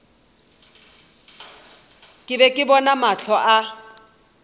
be ke bona mahlo a